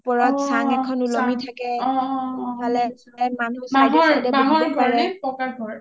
ওপৰত চাং এখন উলমি থাকে অ অ মানুহ side য়ে side য়ে বহি পাৰে